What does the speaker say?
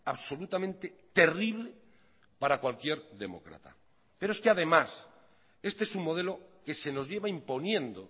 absolutamente terrible para cualquier demócrata pero es que además este es un modelo que se nos lleva imponiendo